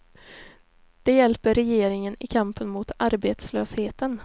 Det hjälper regeringen i kampen mot arbetslösheten.